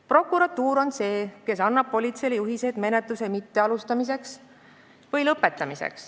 Prokuratuur on see, kes annab politseile juhiseid menetlust mitte alustada või see lõpetada.